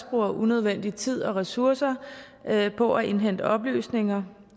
bruger unødvendig tid og unødvendige ressourcer på at indhente oplysninger